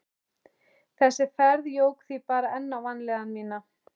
Þessi ferð jók því bara enn á vanlíðan mína.